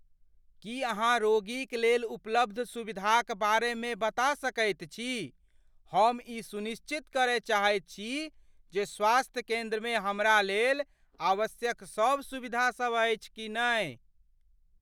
की अहाँ रोगीक लेल उपलब्ध सुविधाक बारेमे बता सकैत छी? हम ई सुनिश्चित करय चाहैत छी जे स्वास्थ्य केंद्रमे हमरालेल आवश्यक सभ सुविधासभ अछि कि नहि?